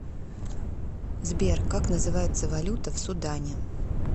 сбер как называется валюта в судане